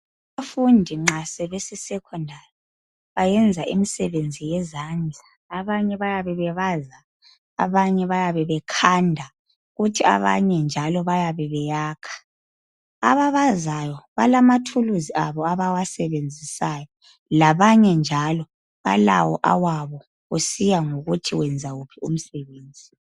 Abafundi nxa sebese Secondary bayenza imisebenzi yezandla. Abanye bayabe bebaza, abanye bayabe bekhanda kuthi abanye njalo bayabe beyakha. Ababazayo balamathuluzi abo abawasebenzisayo labanye njalo balawo awabo kusiya ngokuthi wenza wuphi umsebenzi.